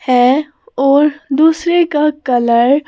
है और दूसरे का कलर --